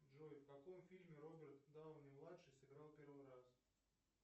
джой в каком фильме роберт дауни младший сыграл в первый раз